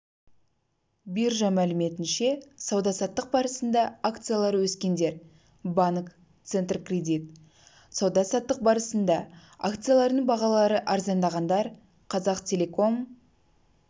биржа мәліметінше сауда-саттық барысында акциялары өскендер банк центркредит сауда-саттық барысында акцияларының бағалары арзандағандар қазақтелеком